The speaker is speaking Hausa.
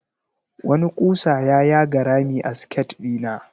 Wani ƙusa ya yaga rami a siket ɗina.